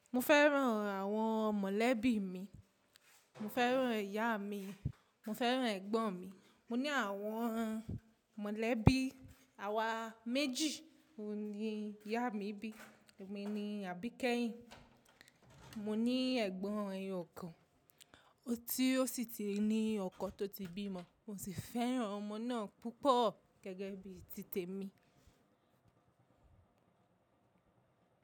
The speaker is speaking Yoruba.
Mo fẹ́ràn àwọn mọ̀lẹ́bí mi. Mo fẹ́ràn ìyá mi, mo fẹ́ràn ẹ̀gbọ́n mi. Mo ní àwọn mọ̀lẹ́bí àwa méjì, òun ni ìyá mi bí, èmi ni àbíkẹ́yìn. Mo ní ẹ̀gbọ́n ẹyọkan, ó ti ó sì ti ní ọkọ tó ti bímọ, mo sì fẹ́ràn ọmọ náà púpọ̀ gẹ́gẹ́ bí tí tèmi.